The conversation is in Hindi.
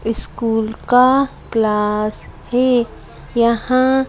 स्कूल का क्लास है यहाँ --